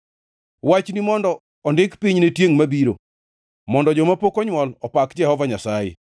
Wachni mondo ondik piny ne tiengʼ mabiro, mondo joma pok onywol opak Jehova Nyasaye: